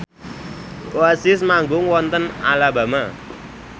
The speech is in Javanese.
Oasis manggung wonten Alabama